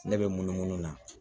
Ne bɛ munumunu na